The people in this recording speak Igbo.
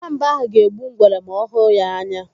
Nwamba ahụ ga-egbu ngwere ma ọ hụ ya anya.